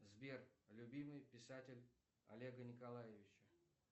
сбер любимый писатель олега николаевича